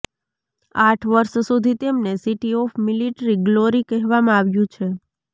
આઠ વર્ષ સુધી તેમને સિટી ઓફ મિલિટરી ગ્લોરી કહેવામાં આવ્યું છે